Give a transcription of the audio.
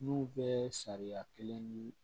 N'u bɛ sariya kelen ni